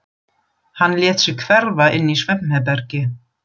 Hann lét sig hverfa inn í svefnherbergi.